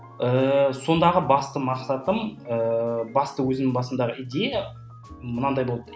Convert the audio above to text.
ііі сондағы басты мақсатым ііі басты өзім басымдағы идея мынандай болды